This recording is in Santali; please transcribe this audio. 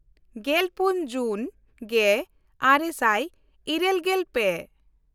ᱜᱮᱞᱯᱩᱱ ᱡᱩᱱ ᱜᱮᱼᱟᱨᱮ ᱥᱟᱭ ᱤᱨᱟᱹᱞᱜᱮᱞ ᱯᱮ